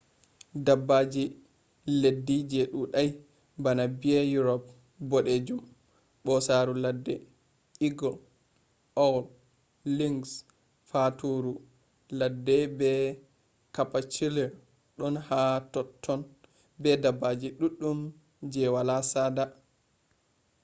dabbaji leddi je dudai bana bear europe bodejum bosaru ladde eagle owl lynx faturu ladde be capercaillie don ha totton be dabbaji duddum je wala sada